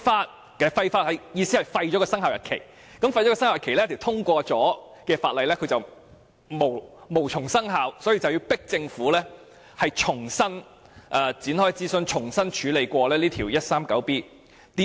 所謂廢法的意思就是廢除生效日期，使這項已經通過的法例無從生效，從而迫使政府重新展開諮詢，重新處理第 139B 章。